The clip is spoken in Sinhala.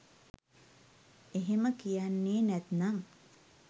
එහෙම කියන්නෙ නැත්නම්